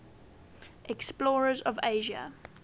explorers of asia